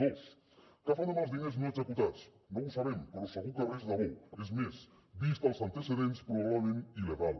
dos què fan amb els diners no executats no ho sabem però segur que res de bo és més vistos els antecedents probablement il·legal